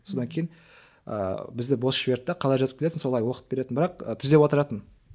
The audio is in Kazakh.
содан кейін ыыы бізді бос жіберді де қалай жазып келесің солай оқып беретін бірақ түзеп отыратын